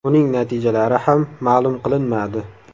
Uning natijalari ham ma’lum qilinmadi.